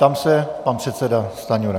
Ptám se - pan předseda Stanjura.